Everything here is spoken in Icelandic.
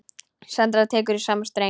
Sandra tekur í sama streng.